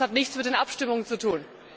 Das hat nichts mit den Abstimmungen zu tun.